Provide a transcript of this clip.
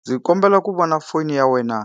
Ndzi kombela ku vona foni ya wena